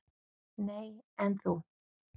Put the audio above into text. """Nei, en þú?"""